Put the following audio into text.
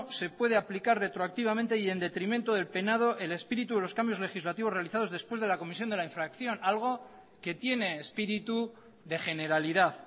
se puede aplicar retroactivamente y en detrimento del penado el espíritu de los cambios legislativos realizados después de la comisión de la infracción algo que tiene espíritu de generalidad